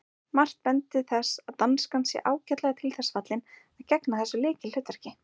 Margt bendir til þess að danskan sé ágætlega til þess fallin að gegna þessu lykilhlutverki.